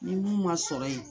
Ni min ma sɔrɔ yen